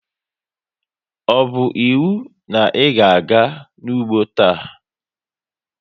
Ọ bu íwú na ịga-aga n'ugbo taa!